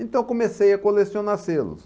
Então comecei a colecionar selos.